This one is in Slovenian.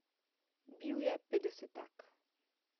Bil je petdesetak.